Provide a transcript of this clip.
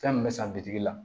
Fɛn min bɛ san bitigi la